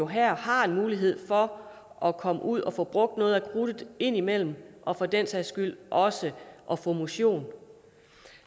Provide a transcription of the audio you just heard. her har en mulighed for at komme ud og få brugt noget af krudtet indimellem og for den sags skyld også at få motion